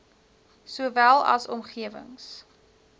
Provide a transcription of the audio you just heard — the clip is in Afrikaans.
sowel as omgewings